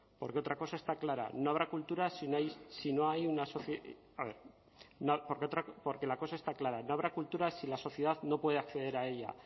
porque otra cosa está clara no habrá cultura si la sociedad no puede acceder a ella